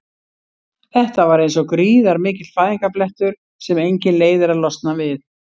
Þetta var eins og gríðarmikill fæðingarblettur sem enginn leið er að losna við.